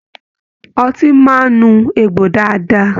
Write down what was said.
Ọtí máa n nu egbò dáadáa.